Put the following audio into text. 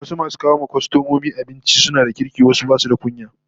Wasu masu kawo wa kwastomomi abinci suna da kirki wasu basu da kunya